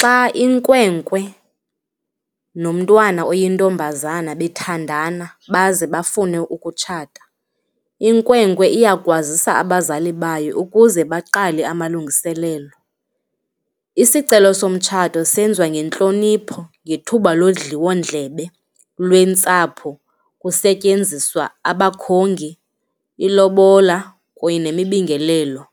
Xa inkwenkwe nomntwana oyintombazana bethandana baze bafune ukutshata, inkwenkwe uyakwazisa abazali bayo ukuze baqale amalungiselelo. Isicelo somtshato senziwa ngentlonipho ngethuba londliwondlebe lwentsapho kusetyenziswa abakhongi, ilobola kunye nemibingelelo.